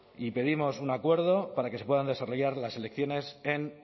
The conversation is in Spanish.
pedimos un acuerdo para que se puedan desarrollar las elecciones en